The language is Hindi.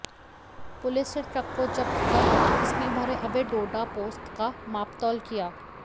पुलिस ने ट्रक को जब्त कर इसमें भरे अवैध डोडा पोस्त का मापतौल किया